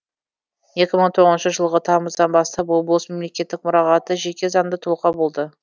екі мың тоғызыншы жылғы тамыздан бастап облыс мемлекеттік мұрағаты жеке заңды тұлға болды